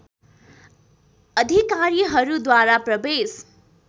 अधिकारीहरू द्वारा प्रवेश